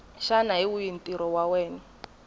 xana hi wihi ntirho wa